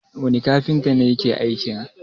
wane kafinta ne ya ke aikin?